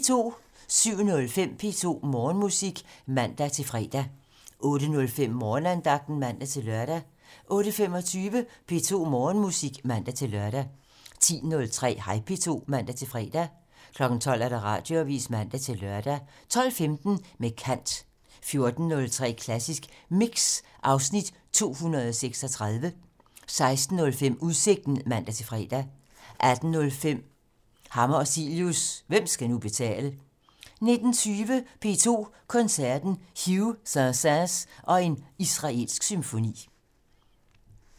07:05: P2 Morgenmusik (man-fre) 08:05: Morgenandagten (man-lør) 08:25: P2 Morgenmusik (man-lør) 10:03: Hej P2 (man-fre) 12:00: Radioavisen (man-lør) 12:15: Med kant 14:03: Klassisk Mix (Afs. 236) 16:05: Udsigten (man-fre) 18:05: Hammer og Cilius - Hvem skal nu betale? 19:20: P2 Koncerten - Hough, Saint-Saëns og en israelsk symfoni